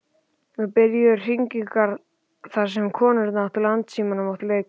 Nú byrjuðu hringingar þar sem konurnar á Landssímanum áttu leik.